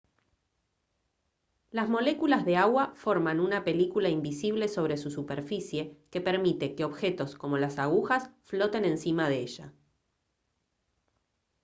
las moléculas de agua forman una película invisible sobre su superficie que permite que objetos como las agujas floten encima de ella